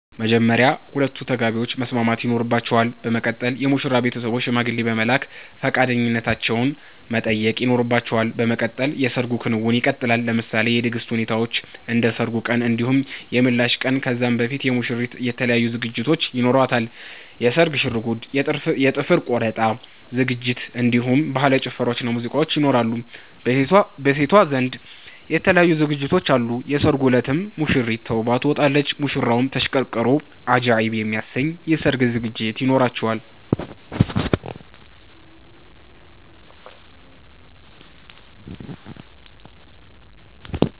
በመጀመርያ ሁለቱ ተጋቢዎች መስማማት ይኖርባቸል በመቀጠል የሙሽራዉ ቤተሰቦች ሽማግሌ በመላክ ፈቃደኛነታቸዉን መጠየቅ ይኖርባቸዋል በመቀጠል የሰርግ ክንዉኑ ይቀጥላል። ለምሳሌ የድግስ ሁኔታዎችን እንደ ሰርጉ ቀን እንዲሁም የምላሽ ቀን ከዛ በፊት የሙሽሪት የተለያዩ ዝግጅቶች ይኖሯታል የስርግ ሽርጉድ የ ጥፍር ቆረጣ ዝግጅት እንዲሁም በህላዊ ጭፈራዎች ሙዚቃዎች ይኖራሉ። በሴቷ ዘንድ የተለያዩ ዝግጅቶች አሉ የሰርጉ እለትም ሙሽሪት ተዉባ ትወጣለች። ሙሽራዉም ተሽቀርቅሮ አጃኢብ የሚያሰኝ የሰርግ ዝግጅት ይኖራቸዋል